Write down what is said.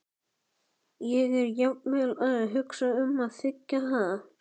Ég er jafnvel að hugsa um að þiggja það.